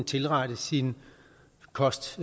tilrette sin kost